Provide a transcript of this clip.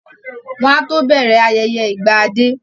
Wọ́n á tó bẹ̀rẹ̀ ayẹyẹ ìgbà dé